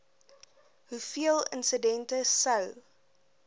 hoeveel insidente sou